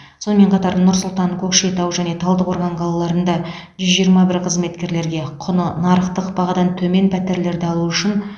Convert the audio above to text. сонымен қатар нұр сұлтан көкшетау және талдықорған қалаларында жүз жиырма бір қызметкерге құны нарықтық бағадан төмен пәтерлерді алу үшін